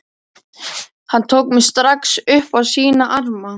Hann tók mig strax upp á sína arma.